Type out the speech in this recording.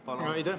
Aitäh!